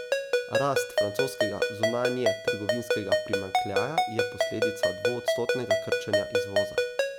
Rast francoskega zunanjetrgovinskega primanjkljaja je posledica dvoodstotnega krčenja izvoza.